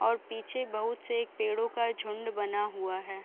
और पीछे बहुत से पेड़ों का झुण्ड बना हुआ है।